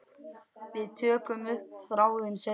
Við tökum upp þráðinn seinna.